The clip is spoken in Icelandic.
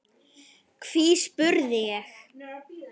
Hví, spurði ég?